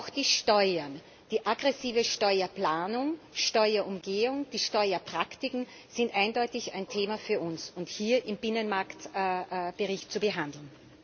Auch die Steuern, die aggressive Steuerplanung, die Steuerumgehung, die Steuerpraktiken sind eindeutig ein Thema für uns und hier im Binnenmarkt Bericht zu behandeln.